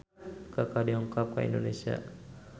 Kaka dongkap ka Indonesia